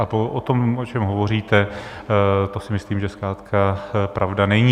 A o tom, o čem hovoříte, to si myslím, že zkrátka pravda není.